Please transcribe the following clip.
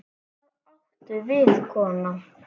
Hvað áttu við, kona?